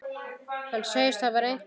Hann segist hafa reynt allt.